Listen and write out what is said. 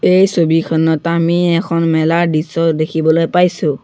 এই ছবিখনত আমি এখন মেলাৰ দৃশ্য দেখিবলৈ পাইছোঁ।